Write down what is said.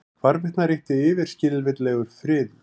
Hvarvetna ríkti yfirskilvitlegur friður.